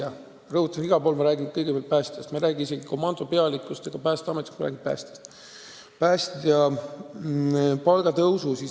Ma rõhutan, et ma räägin eelkõige päästjatest, ma ei räägi komandode pealikutest ega muudest Päästeameti töötajatest.